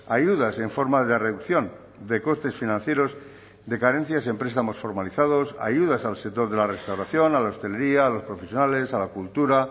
ayudas en forma de reducción de costes financieros de carencias en prestamos formalizados ayudas al sector de la restauración a la hostelería a los profesionales a la cultura